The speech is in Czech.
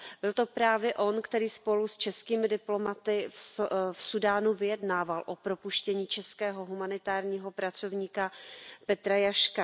Byl to právě on, který spolu s českými diplomaty v Súdánu vyjednával o propuštění českého humanitárního pracovníka Petra Jaška.